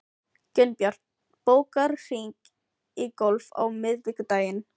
Gunnbjörg, bókaðu hring í golf á miðvikudaginn.